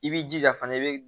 I b'i jija fana i bi